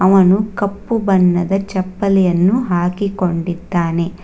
ಅವನು ಕಪ್ಪು ಬಣ್ಣದ ಚಪ್ಪಲಿಯನ್ನು ಹಾಕಿಕೊಂಡಿದ್ದಾನೆ.